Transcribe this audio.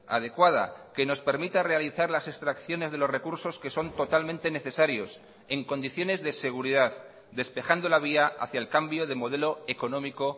adecuada que nos permita realizar las extracciones de los recursos que son totalmente necesarios en condiciones de seguridad despejando la vía hacia el cambio de modelo económico